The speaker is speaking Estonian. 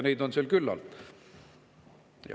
Neid on seal küllalt.